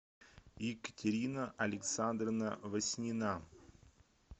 екатерина александровна васнина